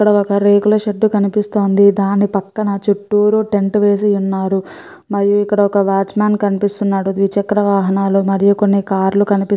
ఇక్కడ ఒక రేకుల షేడ్ కనిపిస్తోంది. దాని ప్రక్కన చుట్టూరు టెంట్ వేసి వున్నారు. మరియు ఇక్కడ ఒక వాచ్ మాన్ కనిపిస్తున్నాడు. ద్విచక్ర వాహనాలు మరియు కొన్ని కార్లు కనిపిస్తున్నాయి.